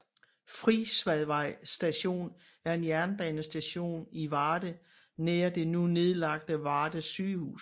Frisvadvej Station er en jernbanestation i Varde nær det nu nedlagte Varde Sygehus